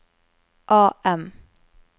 AM